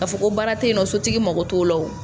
K'a fɔ ko baara tɛ yen nɔ, sotigi mago t'o la wo.